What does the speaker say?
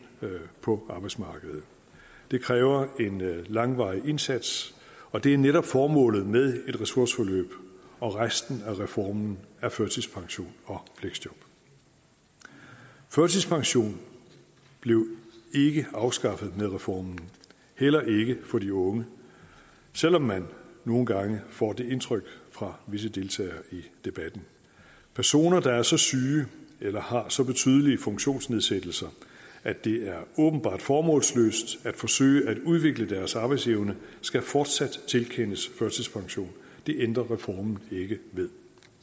på arbejdsmarkedet det kræver en langvarig indsats og det er netop formålet med et ressourceforløb og resten af reformen af førtidspension og fleksjob førtidspension blev ikke afskaffet med reformen heller ikke for de unge selv om man nogle gange får det indtryk fra visse deltagere i debatten personer der er så syge eller har så betydelige funktionsnedsættelser at det er åbenbart formålsløst at forsøge at udvikle deres arbejdsevne skal fortsat tilkendes førtidspension det ændrer reformen ikke ved